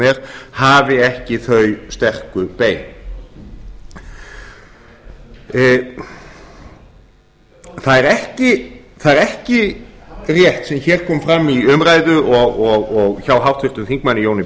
er hafi ekki þau sterku bein það er ekki rétt sem hér kom fram í umræðu hjá háttvirtum þingmanni jóni